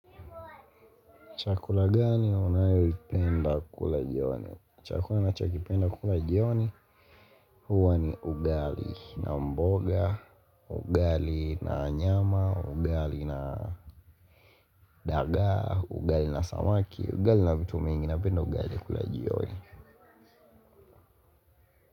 Chakula gani unayoipenda kula jioni? Chakula nachokipenda kula jioni huwa ni ugali na mboga, ugali na nyama, ugali na dagaa, ugali na samaki, ugali na vitu mingi napenda ugali kula jioni.